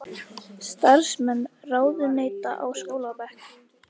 Starfsmenn ráðuneyta á skólabekk